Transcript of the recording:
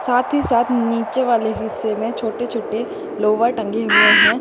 साथ ही साथ नीचे वाले हिस्से में छोटे छोटे लोवर टंगे हुएं हैं।